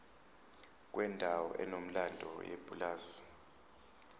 kwendawo enomlando yepulazi